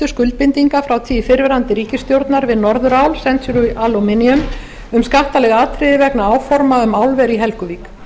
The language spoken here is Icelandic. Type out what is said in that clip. skuldbindinga frá tíð fyrrverandi ríkisstjórnar við norðurál century aluminum um skattaleg atriði vegna áforma um álver í helguvík